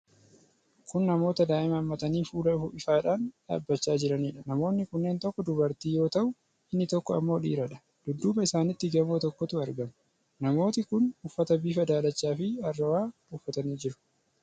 Kun namoota daa'ima hammatanii fuula ifaadhaan dhaabachaa jiraniidha. Namoonni kunneen tokko durbatii yoo taatu inni tokko ammoo dhiiradha. Dudduuba isaanitti gamoo tokkotu argama. Namooti kun uffata bifa daalacha fi arrowa uffatanii jiru.